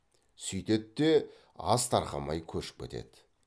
сүйтеді де ас тарқамай көшіп кетеді